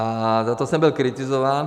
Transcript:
A za to jsem byl kritizován.